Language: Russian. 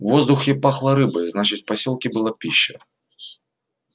в воздухе пахло рыбой значит в посёлке была пища